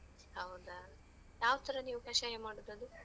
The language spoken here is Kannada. ಹೌದಾ? ಯಾವತರ ನೀವ್ ಕಷಾಯ ಮಾಡುದ್ ಅದು?